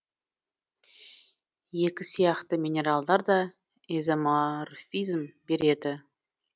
екі сияқты минералдар да изоморфизм береді